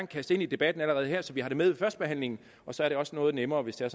kaste ind i debatten allerede her så vi har det med ved førstebehandlingen og så er det også noget nemmere hvis det er